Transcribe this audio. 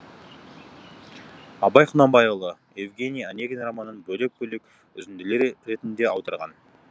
абай құнанбайұлы евгений онегин романың бөлек бөлек үзінділер ретінде аударған